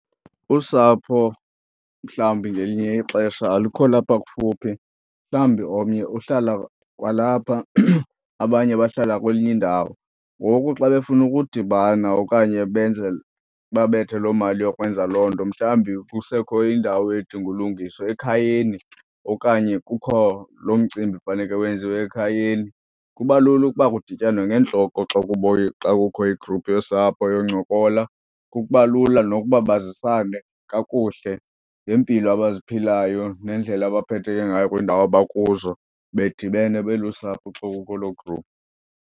Usapho mhlawumbi ngelinye ixesha alukho lapha kufuphi, mhlawumbi omnye uhlala kwalapha abanye bahlala kwenyindawo. Ngoku xa befuna ukudibana okanye benze babethe loo mali yokwenza loo nto mhlawumbi kusekho indawo edinga ulungiswa ekhayeni okanye kukho loo mcimbi faneke wenziwe ekhayeni, kuba lula ukuba kudityanwe ngeentloko xa xa kukho igruphu yosapho yoncola. Kuba lula nokuba bazisane kakuhle ngeempilo abaziphilayo nendlela abaphetheke ngayo kwiindawo abakuzo bedibene belusapho xa ukuloo gruphu.